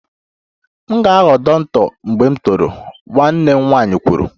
M ga-aghọ dọkịta mgbe m toro, nwanne m nwanyị kwuru